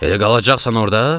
"Elə qalacaqsan orda?"